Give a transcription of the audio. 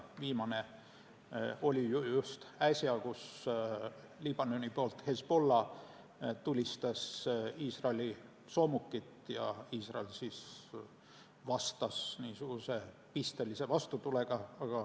Viimane oli äsja, kui Liibanoni poolt Hezbollah tulistas Iisraeli soomukit ja Iisrael vastas pistelise vastutulega.